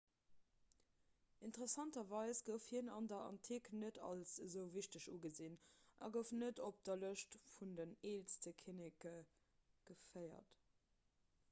interessanterweis gouf hien an der antik net als esou wichteg ugesinn a gouf net op de lëschte vun den eelste kinneke geféiert